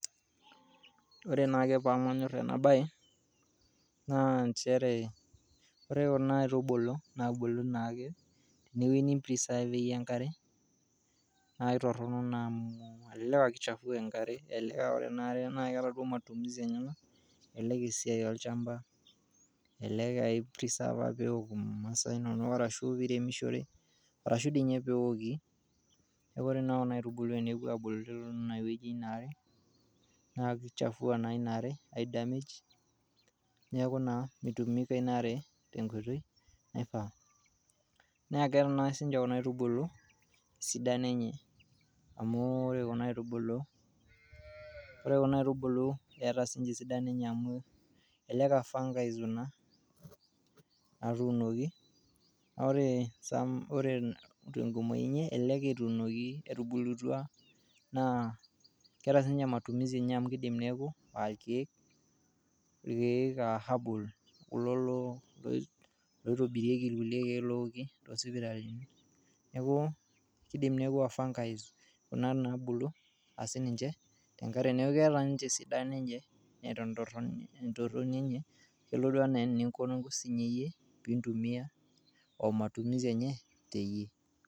Ore naa pamanyorr ena baye naa inchere ore kuna aitubulu naa ebulu naake te weji nimpreservie enkare naa etorrono naa amu elelek naa keichafua enkare naa ore anaare naa keata duo matumizi enyena, elelek sii olchamba, elelek aa ioreserva peok masaa inono arashu piiremishore, arashu dei ninye peoki, neaku ore naa kuna aitubulu tenepo aabulu teine weji ena aare naa keichafua naa inaaare eidamage naaku naa meitumika inaare te nkoitoi naifaa, naa keeta naa si kuna aitubulu sidano enye amu ore kuna aitubulu eeta sininye sidano enyee amu elelek aa fungi kuna natuunoki na ore some ore nkumoii enyee elelek etuunoki etubulutwa naa keata sii ninye matumizi enye amu keidim naaku irkeek aa herbal kulo loitobirieki lkule irkiek looki teee sipitalini, keidim neaku aa fungi naabulu sii ninche te enkare, neaku keata ninche esidano neata entorroni enye nelotu anaa eniinko sii iyie oiintumiya omatumisi enye teiye.